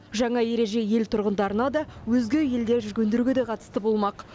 жаңа ереже ел тұрғындарына да өзге елде жүргендерге де қатысты болмақ